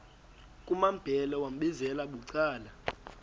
kumambhele wambizela bucala